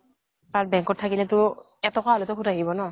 আৰু bank ত থাকিলেতো এটকা হলেও সুত আহিব ন।